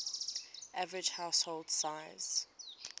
average household size